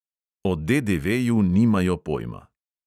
O DDV-ju nimajo pojma.